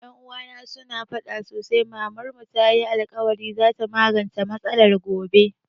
Ƴan uwana su na faɗa sosai Mamar mu tayi alkawarin za ta magance matsalar gobe